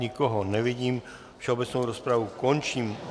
Nikoho nevidím, všeobecnou rozpravu končím.